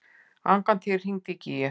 Angantýr, hringdu í Gígju.